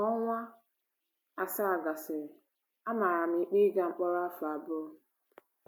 Ka ọnwa asaa gasịrị, a mara m ikpe ịga mkpọrọ afọ abụọ..